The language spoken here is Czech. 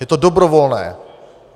Je to dobrovolné.